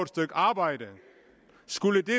stykke arbejde skulle det